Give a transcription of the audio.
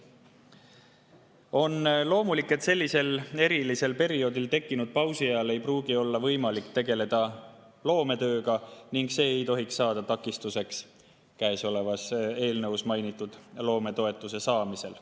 On loomulik, et sellisel erilisel perioodil tekkinud pausi ajal ei pruugi olla võimalik tegeleda loometööga ning see ei tohiks saada takistuseks käesolevas eelnõus mainitud loometoetuse saamisel.